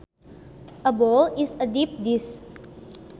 A bowl is a deep dish